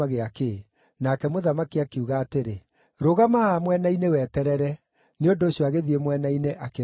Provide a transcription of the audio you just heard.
Nake mũthamaki akiuga atĩrĩ, “Rũgama haha mwena-inĩ weterere.” Nĩ ũndũ ũcio agĩthiĩ mwena-inĩ, akĩrũgama ho.